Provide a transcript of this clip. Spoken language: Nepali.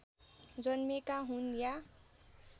जन्मेका हुन् या